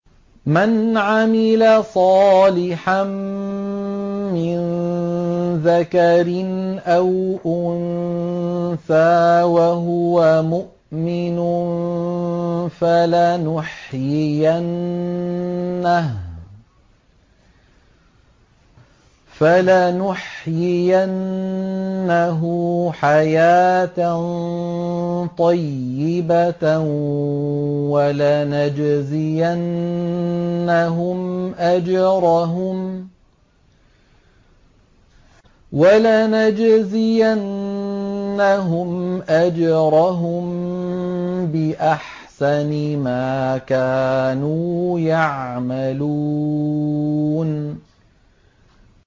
مَنْ عَمِلَ صَالِحًا مِّن ذَكَرٍ أَوْ أُنثَىٰ وَهُوَ مُؤْمِنٌ فَلَنُحْيِيَنَّهُ حَيَاةً طَيِّبَةً ۖ وَلَنَجْزِيَنَّهُمْ أَجْرَهُم بِأَحْسَنِ مَا كَانُوا يَعْمَلُونَ